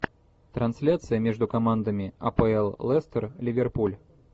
трансляция между командами апл лестер ливерпуль